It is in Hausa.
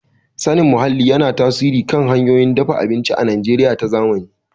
Sanin muhalli yana tasiri kan hanyoyin dafa abinci a Najeriya ta zamani.